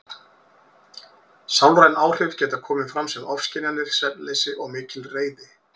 Sálræn áhrif geta komið fram sem ofskynjanir, svefnleysi og mikil reiði.